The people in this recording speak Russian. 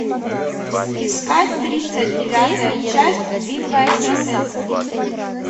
искать тридцать девятая часть битва экстрасенсов